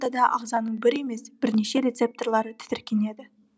ортада ағзаның бір емес бірнеше рецептарлары тітіркенеді